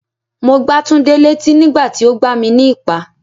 Mo gbá Túndé létí nígbà tí o gbà mi ní ìpá.